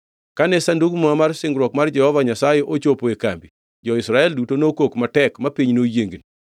Kane Sandug Muma mar Singruok mar Jehova Nyasaye ochopo e kambi, jo-Israel duto nokok matek ma piny noyiengni.